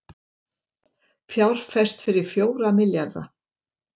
Fjárfest fyrir fjóra milljarða